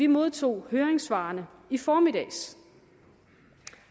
modtog høringssvarene i formiddags